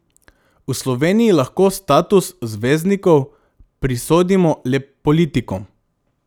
V Sloveniji lahko status zvezdnikov prisodimo le politikom.